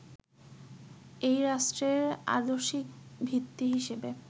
এই রাষ্ট্রের আদর্শিক ভিত্তি হিসেবে